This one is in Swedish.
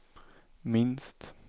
minst